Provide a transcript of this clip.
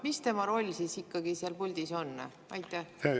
Mis tema roll ikkagi seal puldis on?